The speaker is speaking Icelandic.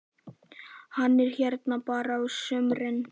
Hann er hérna bara á sumrin.